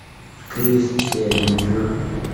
крис сэлинджер